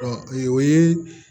Dɔn o ye